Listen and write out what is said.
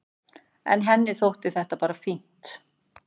En henni þótti þetta fínt.